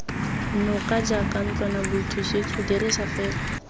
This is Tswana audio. noka jaaka ntlwanaboithusetso fela dirisa